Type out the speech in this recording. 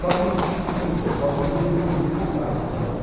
Só que tinha um pessoal que ia todo dia e voltava de ônibus.